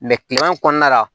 kilema kɔnɔna la